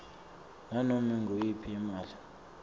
nanome nguyiphi imali